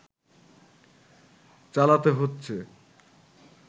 চালাতে হচ্ছে